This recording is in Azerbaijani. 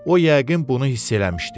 O yəqin bunu hiss eləmişdi.